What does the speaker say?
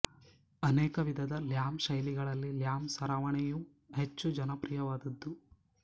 ಅನೇಕ ವಿಧದ ಲ್ಯಾಮ್ ಶೈಲಿಗಳಲ್ಲಿ ಲ್ಯಾಮ್ ಸರವನೆ ಯು ಹೆಚ್ಚು ಜನಪ್ರಿಯವಾದುದು